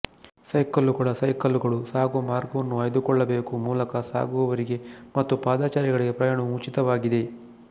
ಸೈಕಲ್ಲುಗಳಸೈಕಲ್ಲುಗಳು ಸಾಗುವ ಮಾರ್ಗವನ್ನು ಆಯ್ದುಕೊಳ್ಳಬೇಕು ಮೂಲಕ ಸಾಗುವವರಿಗೆ ಮತ್ತು ಪಾದಾಚಾರಿಗಳಿಗೆ ಪ್ರಯಾಣವು ಉಚಿತವಾಗಿದೆ